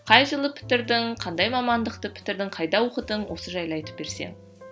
қай жылы бітірдің қандай мамандықты бітірдің қайда оқыдың осы жайлы айтып берсең